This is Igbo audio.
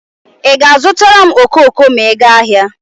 Ị ga-azụtala m okoko ma ị gaa ahịa.